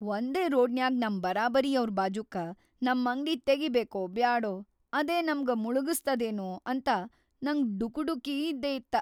ವಂದೇ ರೋಡ್ನ್ಯಾಗ್ ನಮ್‌ ಬರಾಬರಿಯವ್ರ್‌ ಬಾಜೂಕ್ಕ ನಮ್‌ ಅಂಗ್ಡಿ ತೆಗಿಬೇಕೊ ಬ್ಯಾಡೊ‌, ಅದೇ ನಮ್ಗ ಮುಳಗಸ್ತದೇನೂ ಅಂತ ನಂಗ್ ಡುಕುಡುಕಿ ಇದ್ದೇಇತ್ತ.